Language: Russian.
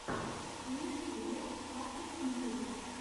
в ютьюбе патрик мьюзик